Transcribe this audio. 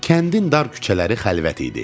Kəndin dar küçələri xəlvət idi.